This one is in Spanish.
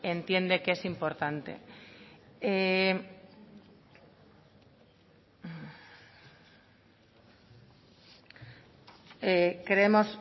entiende que es importante creemos